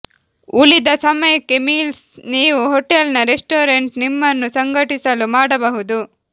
ಉಳಿದ ಸಮಯಕ್ಕೆ ಮೀಲ್ಸ್ ನೀವು ಹೋಟೆಲ್ನ ರೆಸ್ಟೋರೆಂಟ್ ನಿಮ್ಮನ್ನು ಸಂಘಟಿಸಲು ಮಾಡಬಹುದು